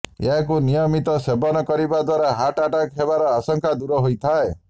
ଏହାକୁ ନିୟମିତ ସେବନ କରିବା ଦ୍ୱାରା ହାର୍ଟ ଆଟାକ୍ ହେବାର ଆଶଙ୍କା ଦୂର ହୋଇଥାଏ